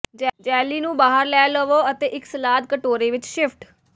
jelly ਨੂੰ ਬਾਹਰ ਲੈ ਲਵੋ ਅਤੇ ਇੱਕ ਸਲਾਦ ਕਟੋਰੇ ਵਿੱਚ ਸ਼ਿਫਟ